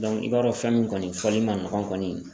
Dɔnku i b'a dɔn fɛn min kɔni fɔli ma nɔgɔ kɔni